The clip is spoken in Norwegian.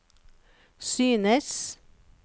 synes